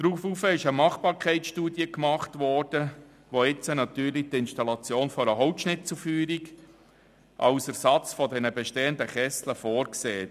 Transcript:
Daraufhin wurde eine Machbarkeitsstudie erstellt, die jetzt natürlich die Installation einer Holzschnitzelfeuerung als Ersatz der bestehenden Kessel vorsieht.